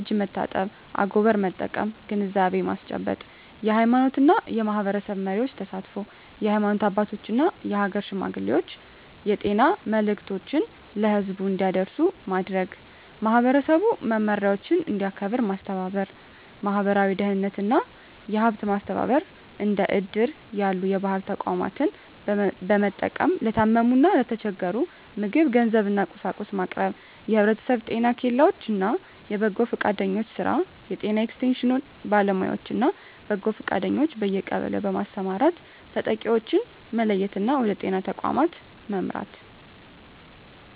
(እጅ መታጠብ፣ አጎበር መጠቀም) ግንዛቤ ማስጨበጥ። የሃይማኖትና የማኅበረሰብ መሪዎች ተሳትፎ: የሃይማኖት አባቶችና የአገር ሽማግሌዎች የጤና መልዕክቶችን ለሕዝቡ እንዲያደርሱ በማድረግ፣ ማኅበረሰቡ መመሪያዎችን እንዲያከብር ማስተባበር። ማኅበራዊ ደህንነትና የሀብት ማሰባሰብ እንደ እድር ያሉ የባህል ተቋማትን በመጠቀም ለታመሙና ለተቸገሩ ምግብ፣ ገንዘብና፤ ቁሳቁስ ማቅረብ። የማኅበረሰብ ጤና ኬላዎች እና የበጎ ፈቃደኞች ሥራ: የጤና ኤክስቴንሽን ባለሙያዎችና በጎ ፈቃደኞች በየቀበሌው በማሰማራት ተጠቂዎችን መለየትና ወደ ጤና ተቋም መምራት።